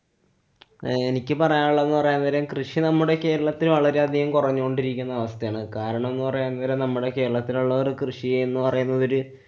എനിക്ക് പറയാന്‍ ഉള്ളത്ന്നു പറയാന്‍ പകരം കൃഷി നമ്മുടെ കേരളത്തെ വളരെയധികം കൊറഞ്ഞു കൊണ്ടിരിക്കുന്ന അവസ്ഥയാണ്. കാരണം എന്ന് പറയാന്‍ കാരണം നമ്മടെ കേരളത്തിലുള്ളവര് കൃഷി എന്നു പറയുന്നതില്